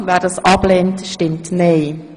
Wer das ablehnt, stimmt nein.